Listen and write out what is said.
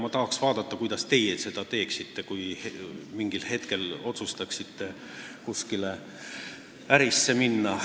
Ma tahaks vaadata, mida teie teeksite, kui otsustaksite mingil hetkel kuskile ärisse minna.